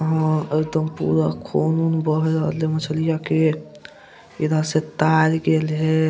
आ ई तो पूरा खून वुन बह रहले मछलिया के इधर से तर गइल है।